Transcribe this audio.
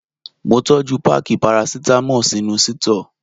Mo tọ́jú páákì parasítámọ̀ sínú sítọ́ọ̀.